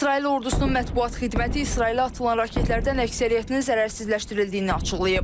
İsrail ordusunun mətbuat xidməti İsrailə atılan raketlərdən əksəriyyətinin zərərsizləşdirildiyini açıqlayıb.